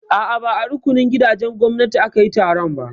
A'a, ba a rukunin gidajen gwamnati aka yi taron ba.